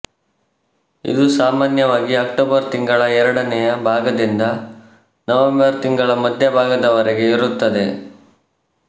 ಇದು ಸಾಮಾನ್ಯವಾಗಿ ಅಕ್ಟೋಬರ್ ತಿಂಗಳ ಎರಡನೆಯ ಭಾಗದಿಂದ ನವೆಂಬರ್ ತಿಂಗಳ ಮಧ್ಯಭಾಗದವರೆಗೆ ಇರುತ್ತದೆ